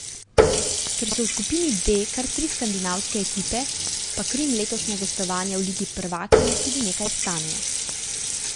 Ker so v skupini D kar tri skandinavske ekipe, pa Krim letošnja gostovanja v ligi prvakinj tudi nekaj stanejo.